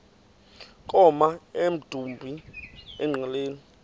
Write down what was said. koma emdumbi engqeleni